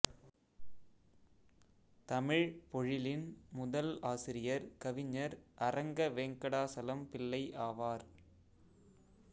தமிழ்ப் பொழிலின் முதல் ஆசிரியர் கவிஞர் அரங்கவெங்கடாசலம் பிள்ளை ஆவார்